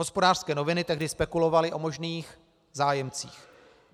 Hospodářské noviny tehdy spekulovaly o možných zájemcích.